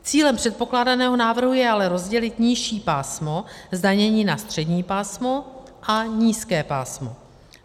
Cílem předkládaného návrhu je ale rozdělit nižší pásmo zdanění na střední pásmo a nízké pásmo.